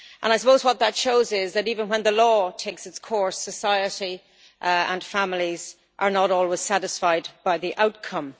I suppose what that shows is that even when the law takes its course, society and families are not always satisfied by the outcome.